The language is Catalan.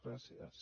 gràcies